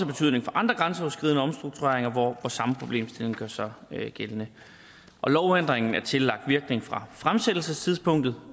betydning for andre grænseoverskridende omstruktureringer hvor samme problemstilling gør sig gældende lovændringen er tillagt virkning fra fremsættelsestidspunktet